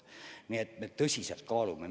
Nii et me tõsiselt kaalume kõike.